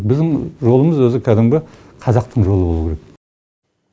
біздің жолымыз өзі кәдімгі қазақтың жолы болуы керек